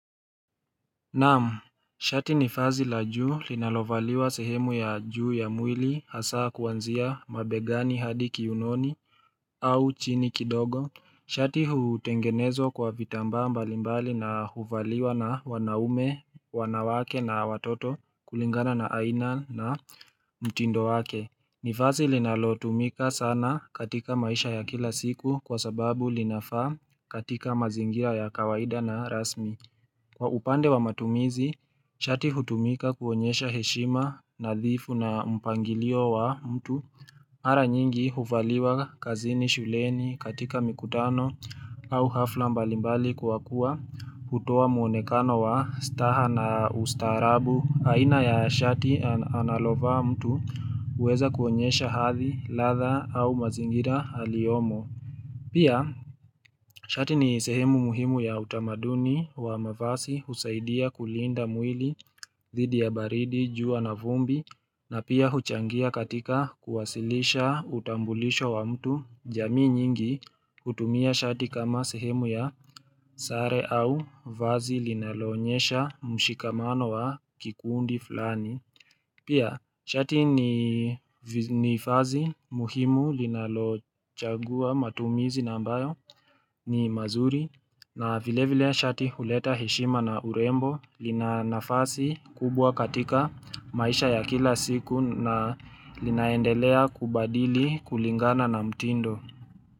Naam, shati ni vazi la juu linalovaliwa sehemu ya juu ya mwili hasa kuanzia mabegani hadi kiunoni au chini kidogo Shati hutengenezwa kwa vitambaa mbalimbali na huvaliwa na wanaume wanawake na watoto kulingana na aina na mtindo wake ni vazi linalo tumika sana katika maisha ya kila siku kwa sababu linafaa katika mazingira ya kawaida na rasmi Kwa upande wa matumizi, shati hutumika kuonyesha heshima na dhifu na mpangilio wa mtu. Mara nyingi huvaliwa kazini shuleni katika mikutano au hafla mbalimbali kwa kuwa hutoa muonekano wa staha na ustaarabu. Aina ya shati analovaa mtu huweza kuonyesha hadhi ladha au mazingira aliyomo. Pia, shati ni sehemu muhimu ya utamaduni wa mavasi husaidia kulinda mwili, dhidi ya baridi, jua na vumbi, na pia huchangia katika kuwasilisha utambulisho wa mtu jamii nyingi hutumia shati kama sehemu ya sare au vazi linaloonyesha mshikamano wa kikundi flani. Pia, shati ni vazi muhimu linalochagua matumizi na ambayo ni mazuri na vile vile shati huleta heshima na urembo lina nafasi kubwa katika maisha ya kila siku na linaendelea kubadili kulingana na mtindo.